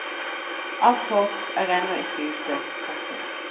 Alt håp er ennå ikke ute. punktum